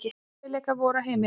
Erfiðleikar voru á heimilinu.